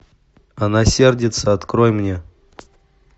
она сердится открой мне